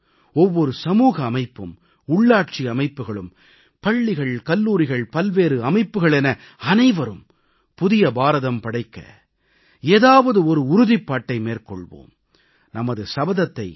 ஒவ்வொரு குடிமகனும் ஒவ்வொரு சமூக அமைப்பும் உள்ளாட்சி அமைப்புக்களும் பள்ளிகள் கல்லூரிகள் பல்வேறு அமைப்புகள் என அனைவரும் புதிய பாரதம் படைக்க ஏதாவது ஒரு உறுதிப்பாட்டை மேற்கொள்வோம்